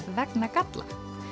vegna galla